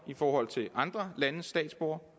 i forhold til andre landes statsborgere